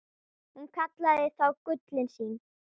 Hún kallaði þá gullin sín.